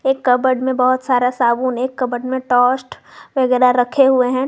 एक कबड में बहोत सारा साबुन एक कबड में टोस्ट वगैरा रखे हुए हैं।